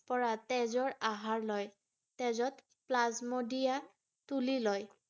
পৰা তেজৰ আহাৰ লয়৷ তেজত plasmodium তুলি লয় ৷